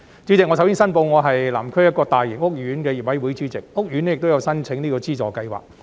主席，首先，我申報我是南區一個大型屋苑的業委會主席，屋苑亦有申請資助計劃。